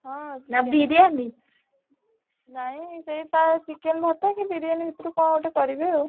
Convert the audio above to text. ହଁ ନାଁ ବିରିୟାନୀ? ନାଇଁ ସେ chicken ଭାତ କି ବିରିୟାନୀ ଭିତରୁ କଣ ଗୋଟେ କରିବ ଆଉ।